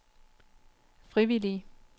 frivillige